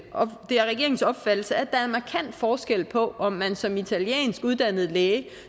er regeringens opfattelse at der er markant forskel på om man som italiensk uddannet læge